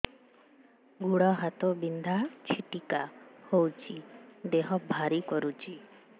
ଗୁଡ଼ ହାତ ବିନ୍ଧା ଛିଟିକା ହଉଚି ଦେହ ଭାରି କରୁଚି